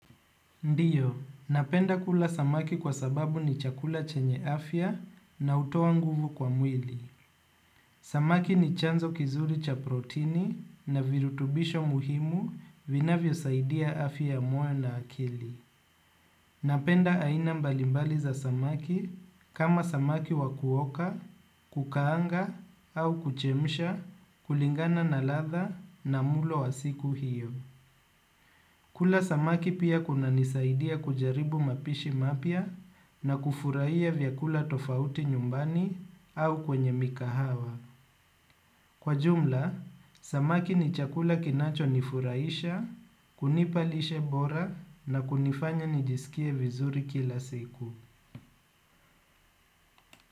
Ndio, napenda kula samaki kwa sababu ni chakula chenye afya na hutoa nguvu kwa mwili. Samaki ni chanzo kizuri cha protini na virutubisho muhimu vinavyosaidia afya ya moyo na akili. Napenda aina mbalimbali za samaki, kama samaki wakuoka, kukaanga au kuchemsha, kulingana na ladha na mlo wa siku hio. Kula samaki pia kunanisaidia kujaribu mapishi mapya na kufurahia vyakula tofauti nyumbani au kwenye mikahawa. Kwa jumla, samaki ni chakula kinachonifurahisha, kunipa lishe bora na kunifanya nijisikie vizuri kila siku.